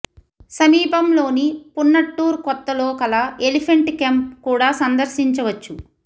సమీపంలోని పున్నట్టూర్ కొత్త లో కల ఎలిఫెంట్ కెంప్ కూడా సందర్శించవచ్చు